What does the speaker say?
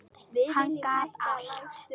Hann gat allt.